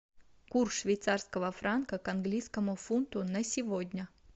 курс швейцарского франка к английскому фунту на сегодня